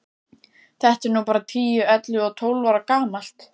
Þetta er nú bara tíu, ellefu og tólf ára gamalt.